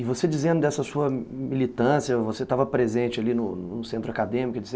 E você dizendo dessa sua militância, você estava presente ali no centro acadêmico etc.